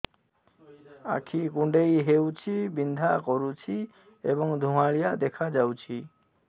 ଆଖି କୁଂଡେଇ ହେଉଛି ବିଂଧା କରୁଛି ଏବଂ ଧୁଁଆଳିଆ ଦେଖାଯାଉଛି